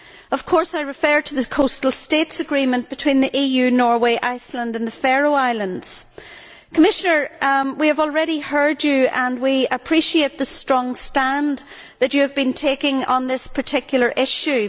Of course, I refer to the Coastal States Agreement between the EU, Norway, Iceland and the Faroe Islands. Commissioner, we have already heard you and we appreciate the strong stand that you have been taking on this particular issue.